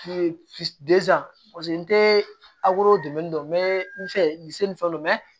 n te don n be n fɛ n se ni fɛn dɔ la